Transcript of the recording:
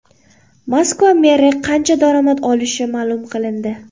Moskva meri qancha daromad olishi ma’lum qilindi.